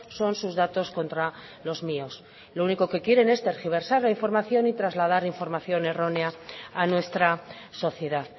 son sus datos contra los míos lo único que quieren es tergiversar la información y trasladar información errónea a nuestra sociedad